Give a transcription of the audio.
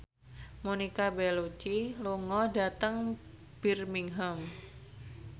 Monica Belluci lunga dhateng Birmingham